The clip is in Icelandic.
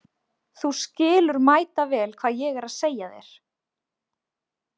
Þú skilur mætavel hvað ég er að segja þér.